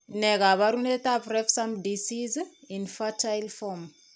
Ne kaabarunetap Refsum disease, infantile form?